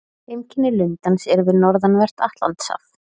Heimkynni lundans eru við norðanvert Atlantshaf.